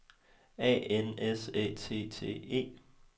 A N S Æ T T E